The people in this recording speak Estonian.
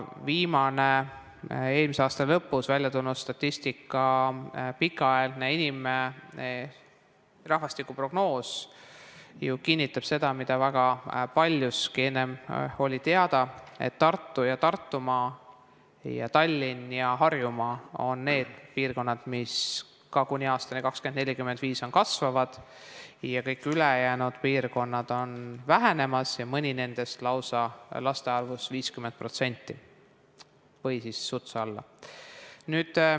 Viimane, eelmise aasta lõpus välja tulnud statistika, pikaaegne rahvastikuprognoos, ju kinnitab seda, mis väga paljuski oli enne teada, et Tartu ja Tartumaa ning Tallinn ja Harjumaa on need piirkonnad, mis ka kuni aastani 2045 kasvavad, ja kõik ülejäänud piirkonnad on vähenemas ja mõnes nendest laste arvust lausa 50% või siis sutsu alla.